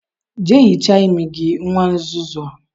Jea hichaa imi gi, nwa nzuzu a